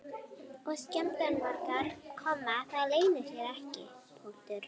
Og skemmdarvargar, það leynir sér ekki.